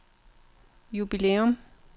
jubilæum